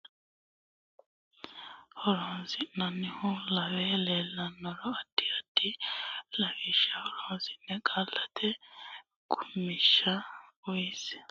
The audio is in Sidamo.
Irko qaalla garunni hegersitinokkiha gari male fiche uytinoha woy qaalunnino ikko borrotenni garimale horonsidhinoha lawe leellihero addi addi lawishsha horonsidhe qaallate qummishsha uynsa.